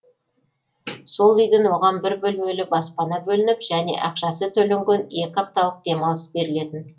сол үйден оған бір бөлмелі баспана бөлініп және ақшасы төленген екі апталық демалыс берілетін